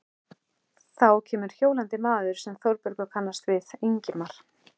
Þá kemur hjólandi maður sem Þórbergur kannast við, Ingimar